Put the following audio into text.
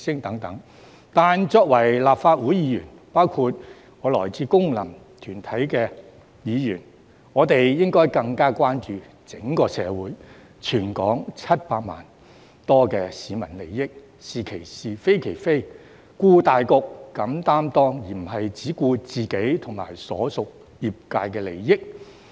但是，作為立法會議員，包括我這類來自功能團體的議員，應該更關注整個社會及全港700多萬市民的利益，"是其是，非其非，顧大局，敢擔當"，而不是只顧自己和所屬業界的利益。